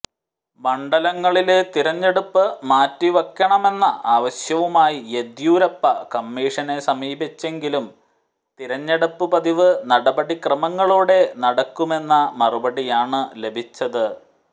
മണ്ഡലങ്ങളിലെ തിരഞ്ഞെടുപ്പ് മാറ്റിവെക്കണമെന്ന ആവശ്യവുമായി യെദ്യൂരപ്പ കമ്മീഷനെ സമീപിച്ചെങ്കിലും തിരഞ്ഞെടുപ്പ് പതിവ് നടപടിക്രമങ്ങളോടെ നടക്കുമെന്ന മറുപടിയാണ് ലഭിച്ചത്